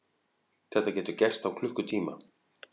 Þetta getur gerst á klukkutíma.